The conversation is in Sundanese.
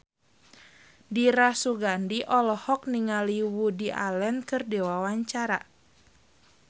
Dira Sugandi olohok ningali Woody Allen keur diwawancara